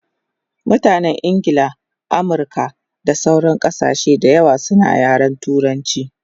Mutanen Ingla, Amirka da sauran kasashe dayawa suna yaren turanchi